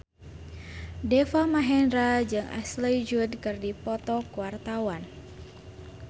Deva Mahendra jeung Ashley Judd keur dipoto ku wartawan